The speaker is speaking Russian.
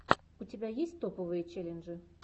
у тебя есть топовые челленджи